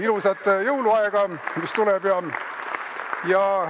Ilusat jõuluaega, mis tuleb!